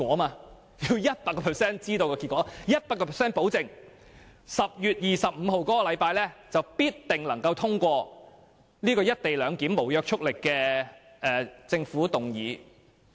她要 100% 知道結果 ，100% 保證能夠在10月25日的立法會會議上通過有關"一地兩檢"的無約束力政府議案。